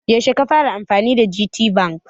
Yaushe ka fara amfani da GTBank?